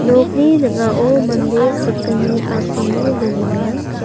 nokni ning·ao mande sakgni asonge dongenga.